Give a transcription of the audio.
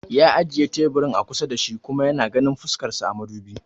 Ya ajiye teburin a kusa da ni shi kuma yana ganin fuskan sa a madubi